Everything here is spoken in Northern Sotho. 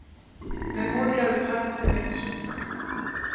memorial park cemetery